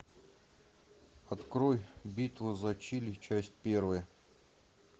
открой битва за чили часть первая